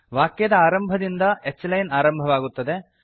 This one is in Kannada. ವಾಕ್ಯದ ಆರಂಭದಿಂದ h ಲೈನ್ ಆರಂಭವಾಗುತ್ತದೆ